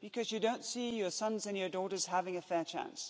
because you don't see your sons and your daughters having a fair chance.